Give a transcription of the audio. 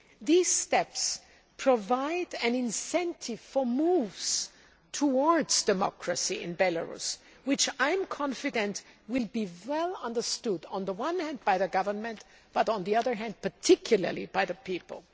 These steps provide an incentive for moves towards democracy in Belarus, which I am confident will be well understood, on the one hand, by the government, but, on the other hand, particularly by the people.